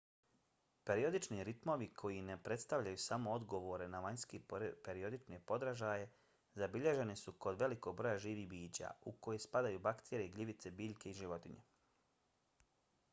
periodični ritmovi koji ne predstavljaju samo odgovore na vanjske periodične podražaje zabilježeni su kod velikog broja živih bića u koje spadaju bakterije gljivice biljke i životinje